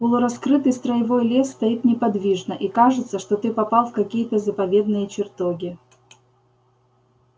полураскрытый строевой лес стоит неподвижно и кажется что ты попал в какие-то заповедные чертоги